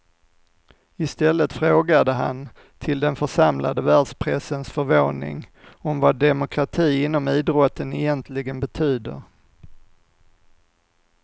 Istället frågade han, till den församlade världspressens förvåning, om vad demokrati inom idrotten egentligen betyder.